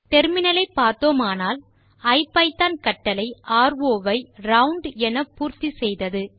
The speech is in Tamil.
முனையத்தை பார்த்தோமானால் ஐபிதான் கட்டளை ரோ ஐ ரவுண்ட் என பூர்த்தி செய்தது